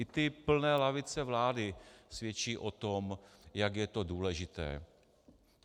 I ty plné lavice vlády svědčí o tom, jak je to důležité.